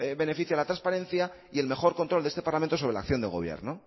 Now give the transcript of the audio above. beneficia a la transparencia y el mejor control de este parlamento sobre la acción del gobierno